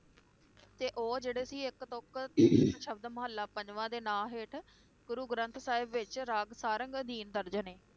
ਤੇ ਉਹ ਜਿਹੜੇ ਸੀ ਇਕ ਤੁਕ ਸ਼ਬਦ ਮੋਹੱਲਾ ਪੰਜਵਾਂ ਦੇ ਨਾਂ ਹੇਠ ਗੁਰੂ ਗ੍ਰੰਥ ਸਾਹਿਬ ਵਿਚ ਰਾਗ ਸਾਰੰਗ ਅਧੀਨ ਦਰਜਨ ਨੇ